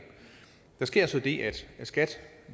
der sker så det at skat